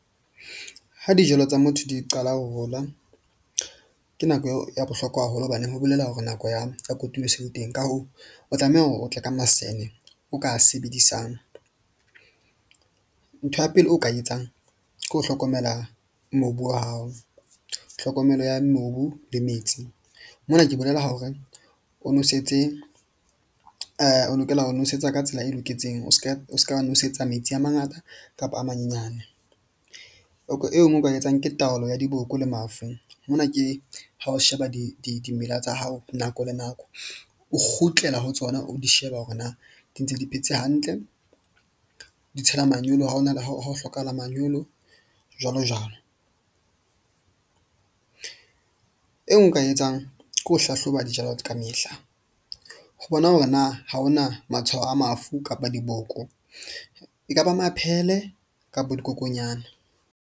Ha dijalo tsa motho di qala ho hola, ke nako eo ya bohlokwa haholo. Hobaneng ho bolela hore nako ya kotulo se le teng. Ka hoo o tlameha hore o tle ka masene o ka sebedisang. Ntho ya pele, o ka etsang ke ho hlokomela mobu wa hao, tlhokomelo ya mobu le metsi. Mona ke bolela hore o nosetse o lokela ho nosetsa ka tsela e loketseng. O ska nosetsa metsi a mangata kapa a manyenyane e nngwe o ka etsang ke taolo ya diboko le mafu. Mona ke ha o sheba dimela tsa hao nako le nako o kgutlela ho tsona, o di sheba hore na di ntse di phetse hantle, di tshela manyolo, ha ho na le ha ho hlokahala manyolo jwalo jwalo. Eo nka e etsang ke ho hlahloba dijalo ka mehla, ho bona hore na ha ho na matshwao a mafu kapa diboko, ekaba maphele kapo dikokonyana.